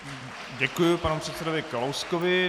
Děkuji panu předsedovi Kalouskovi.